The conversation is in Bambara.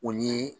O ni